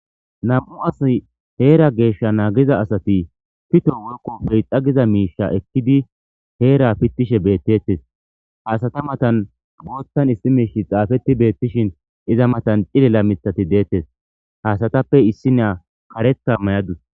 Nam'u asay hera gesha nagiza asati pito woyikko peexa miishsha ekidi hera pitishe betetes ha asata matan boothan issi mishi xafeti betishin iza matan cilila mitati detes ha asatappe issiniya kareta mayadus.